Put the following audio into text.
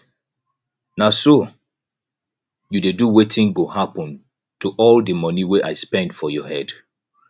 na so you dey do wetin go happen to all the money wey i spend for your head